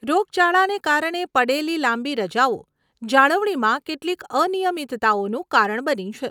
રોગચાળાને કારણે પડેલી લાંબી રજાઓ, જાળવણીમાં કેટલીક અનિયમિતતાઓનું કારણ બની છે.